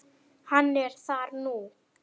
Hann er þar nú.